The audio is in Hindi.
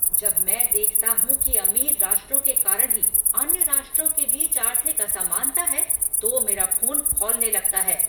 जब मैं देखता हूँ कि अमीर राष्ट्रों के कारण ही अन्य राष्ट्रों के बीच आर्थिक असमानता है तो मेरा ख़ून खौलने लगता है।